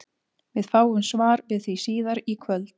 Við fáum svar við því síðar í kvöld!